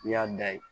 I y'a da ye